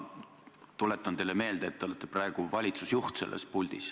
Ma tuletan teile meelde, et te olete praegu selles puldis valitsusjuht.